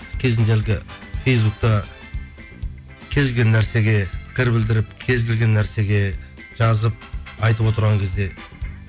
кезінде әлгі фейсбукта кез келген нәрсеге пікір білдіріп кез келген нәрсеге жазып айтып отырған кезде